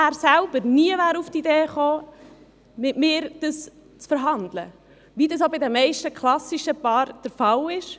Er selber wäre nie auf die Idee gekommen, dies mit mir zu verhandeln, wie dies bei den meisten klassischen Paaren der Fall ist.